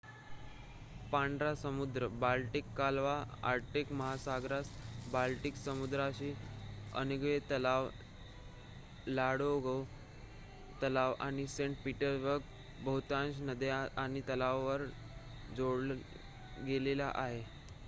पांढरा समुद्र बाल्टिक कालवा आर्क्टिक महासागरास बाल्टिक समुद्राशी ओनेगातलाव लाडोगा तलाव आणि सेंट पीटर्सबर्ग बहुतांश नद्या आणि तलावाद्वारे जोडला गेलेला आहे